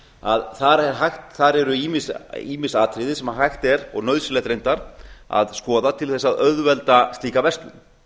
að þar eru ýmis atriði sem hægt er og nauðsynlegt reyndar að skoða til þess að auðvelda slíka verslun